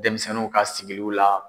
Denmisɛnninw ka sigiliw la